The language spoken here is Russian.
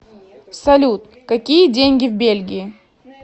салют какие деньги в бельгии